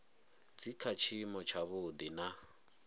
dzi kha tshiimo tshavhuḓi na